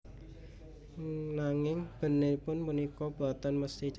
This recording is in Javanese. Nanging bèntenipun punika boten mesthi cetha